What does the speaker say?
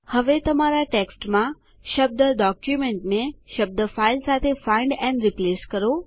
હવે તમારા ટેક્સ્ટમા શબ્દ ડોક્યુમેન્ટ ને શબ્દ ફાઇલ સાથે ફાઇન્ડ એન્ડ રિપ્લેસ કરો